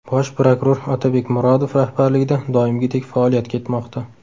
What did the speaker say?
Bosh prokuror Otabek Murodov rahbarligida doimgidek faoliyat ketmoqda.